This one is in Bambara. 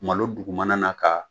Malo dugumana na ka